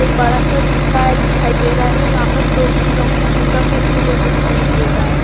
एक बड़ा सा दिखाई दे रहा है यहां पर दो तीन लोग हैं जिनका फेस क्लियर दिखाई नहीं दे रहा है।